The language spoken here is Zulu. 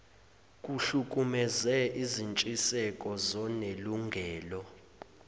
kuhlukumeze izintshiseko zonelungelo